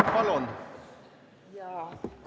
Palun!